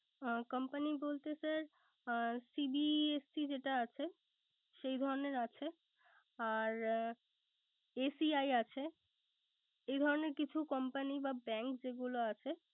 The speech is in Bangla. হ্যাঁ company বলতে sir CBSE যেটা আছে। সেই ধরনের আছে, আর ACI আছে। এধরনের কিছু comapay বা bank যেগুলো আছে